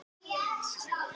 Það er ekki gert í dag.